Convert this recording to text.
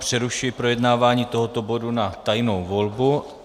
Přerušuji projednávání tohoto bodu na tajnou volbu.